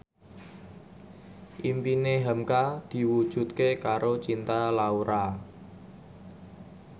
impine hamka diwujudke karo Cinta Laura